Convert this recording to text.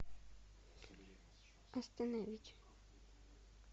остановить